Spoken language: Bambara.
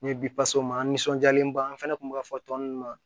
N ye an nisɔndiyalenba an fɛnɛ kun b'a fɔ tɔn ma